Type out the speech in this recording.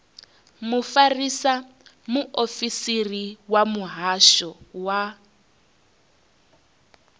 mufarisa muofisiri wa muhasho wa